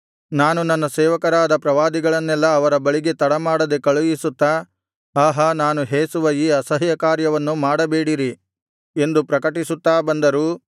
ನಾನು ನನ್ನ ಸೇವಕರಾದ ಪ್ರವಾದಿಗಳನ್ನೆಲ್ಲಾ ಅವರ ಬಳಿಗೆ ತಡ ಮಾಡದೆ ಕಳುಹಿಸುತ್ತಾ ಆಹಾ ನಾನು ಹೇಸುವ ಈ ಅಸಹ್ಯಕಾರ್ಯವನ್ನು ಮಾಡಬೇಡಿರಿ ಎಂದು ಪ್ರಕಟಿಸುತ್ತಾ ಬಂದರೂ